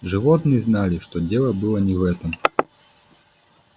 животные знали что дело было не в этом